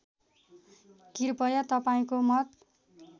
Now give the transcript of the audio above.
कृपया तपाईँको मत